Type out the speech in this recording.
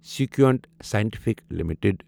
Sequent Scientific limited